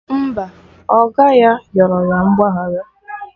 Mba, oga ya yọrọ ya mgbaghara